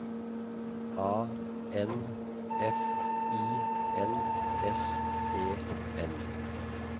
A N F I N S E N